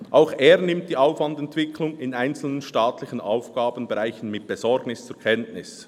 Auch er nimmt die Aufwandentwicklung in einzelnen staatlichen Aufgabenbereichen mit Besorgnis zur Kenntnis.